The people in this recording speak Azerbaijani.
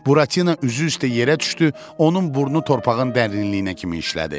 Buratina üzü üstə yerə düşdü, onun burnu torpağın dərinliyinə kimi şineldi.